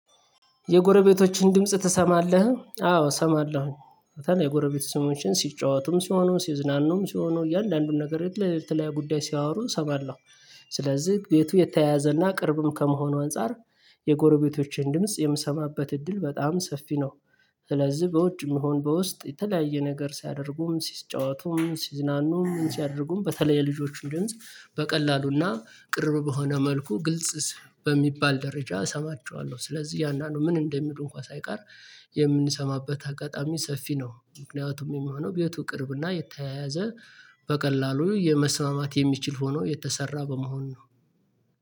የጎረቤቶችን ድምጽ ትሰማለህ አዎ እሰማለሁኝ። የጎረቤት ስሞችን ሲጫወቱም ሲሆኑም ሲዝናኑም ሲሆኑ እያንዳንዱን ነገር የተለያዩ የተለያዩ ጉዳይ ሲያወሩ እሰማለሁ። ስለዚህ ቤቱ የተያያዘና ቅርብም ከመሆኑ አንፃር። የጎረቤቶቼን ድምጽ የምሰማበት እድል በጣም ሰፊ ነው። ስለዚህ በውጭ ይሆን በውስጥ የተለያየ ነገር ሲያደርጉም ሲጫወቱም ሲዝናኑም ምን ሲያደርጉም በተለየ የልጆቹን ድምጽ በቀላሉና ቅርብ በሆነ መልኩ ግልጽ። በሚባል ደረጃ እሰማቸዋለሁ ስለዚህ እያንዳንዱ ምን እንደሚሉ እንኳን ሳይቀር። የምንሰማበት አጋጣሚ ሰፊ ነው ምክንያቱም የሚሆነው ቤቱ ቅርብና የተያያዘ በቀላሉ የመስማማት የሚችል ሆኖ የተሰራ በመሆን ነው